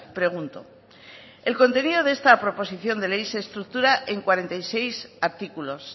pregunto el contenido de esta proposición de ley se estructura en cuarenta y seis artículos